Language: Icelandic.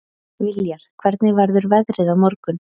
Viljar, hvernig verður veðrið á morgun?